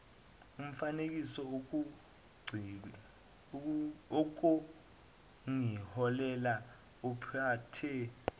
mfaniseni ukungiholela ophathe